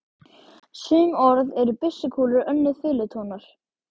Sum orð eru byssukúlur, önnur fiðlutónar.